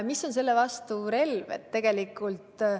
Mis on selle vastu relvaks?